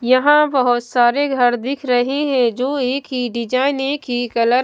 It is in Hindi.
यहां बहुत सारे घर दिख रहे हैं जो एक ही डिजाइन एक ही कलर --